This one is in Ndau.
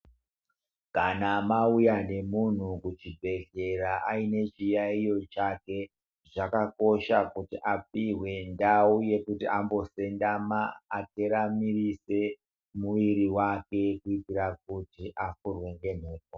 Kana mauya nemuntu kuchibhedhlera aine chiyaiyo chake zvakakosha kuti apihwe ndau yekuti ambosendama ateramirise muiri wake kuitira kuti afurwe nemhepo.